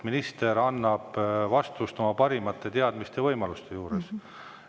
Minister annab vastuse oma parimate teadmiste ja võimaluste piires.